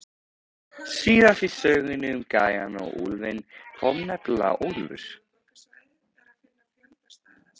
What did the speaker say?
Síðast í sögunni um gæjann og úlfinn kom nefnilega úlfur.